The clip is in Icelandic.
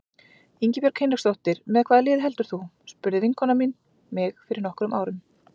Ingibjörg Hinriksdóttir Með hvaða liði heldur þú? spurði vinkona mín mig fyrir nokkrum árum.